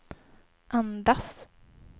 andas